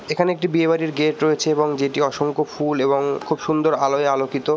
এখানে একটি বিয়ে বাড়ির গেট রয়েছে যেটি অসংখ্য ফুল এবং খুব সুন্দর আলোয় আলোকিত।